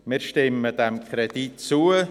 Wir stimmen diesem Kredit zu.